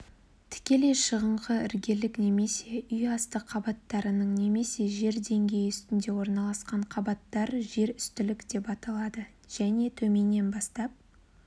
тікелей шығыңқы іргелік немесе үй асты қабаттарының немесе жер деңгейі үстінде орналасқан қабаттар жер үстілік деп аталады және төменнен бастап